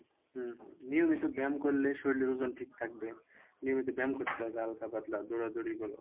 হম হম নিয়মিত ব্যাম করলে শরীরের ওজন ঠিক থাকবে নিয়মিত ব্যাম করতে হবে হালকা পাতলা দৌড়াদৌড়ি বলো